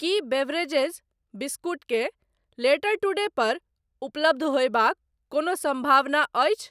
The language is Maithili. की बेवरेजेज, बिस्कुट के लेटर टुडे पर उपलब्ध होयबाक कोनो सम्भावना अछि ?